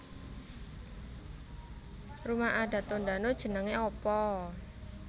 Rumah adat Tondano jenenge apa